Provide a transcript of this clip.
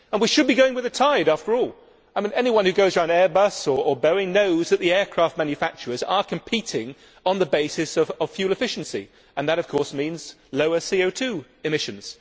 We should be going with the tide, after all. Anyone who goes round Airbus or Boeing knows that the aircraft manufacturers are competing on the basis of fuel efficiency, and that of course means lower CO 2 emissions.